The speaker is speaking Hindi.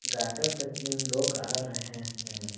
गटर पे तीन लोग आ रहे हैं।